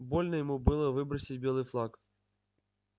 больно ему было выбросить белый флаг